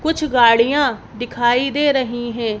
कुछ गाड़ियां दिखाई दे रही है।